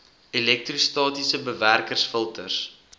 elektrostatiese bewerkers filters